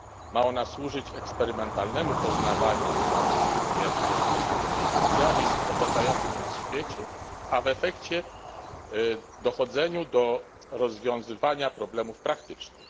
Ma ona służyć eksperymentalnemu poznawaniu, a więc głównie w drodze indukcji, zjawisk w otaczającym nas świecie, a w efekcie dochodzeniu do rozwiązywania efektów praktycznych.